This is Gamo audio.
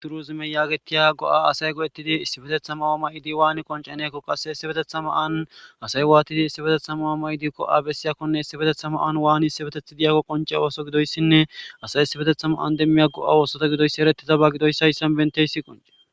turuzime yaagetiya go7a asay go7ettidi issi betethama oomay7di waani qonce neekko qasse issi betethama an asay waatidi issi betethama oomay7di ko7a bessiyakkone issibetethama an waani issibetethi diyako qonce ooso gidoyssinne asay issi betethama an demmi a go7a oosota gidoyssi erettizaba gidoyss hayssan benteysi qonce